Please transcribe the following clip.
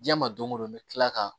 Diɲɛ ma don o don n bɛ tila ka